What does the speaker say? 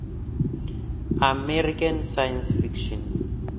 american science fiction